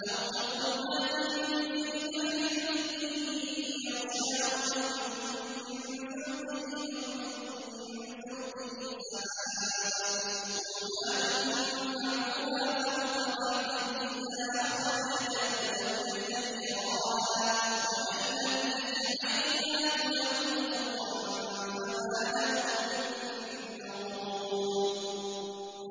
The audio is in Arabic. أَوْ كَظُلُمَاتٍ فِي بَحْرٍ لُّجِّيٍّ يَغْشَاهُ مَوْجٌ مِّن فَوْقِهِ مَوْجٌ مِّن فَوْقِهِ سَحَابٌ ۚ ظُلُمَاتٌ بَعْضُهَا فَوْقَ بَعْضٍ إِذَا أَخْرَجَ يَدَهُ لَمْ يَكَدْ يَرَاهَا ۗ وَمَن لَّمْ يَجْعَلِ اللَّهُ لَهُ نُورًا فَمَا لَهُ مِن نُّورٍ